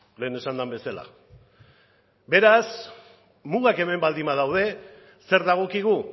lehen esan den bezala beraz mugak hemen baldin badaude zer dagokigu